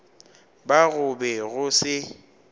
ba go be go se